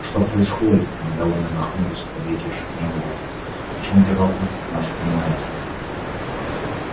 что происходит недовольно нахмурился подлетевший к ним вуд почему первокурсник нас снимает